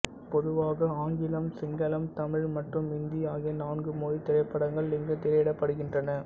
பொதுவாக ஆங்கிலம் சிங்களம் தமிழ் மற்றும் இந்தி ஆகிய நான்கு மொழித் திரைப்படங்கள் இங்கு திரையிடப்படுகின்றன